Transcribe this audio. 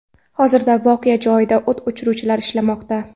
Hozirda voqea joyida o‘t o‘chiruvchilar ishlamoqda.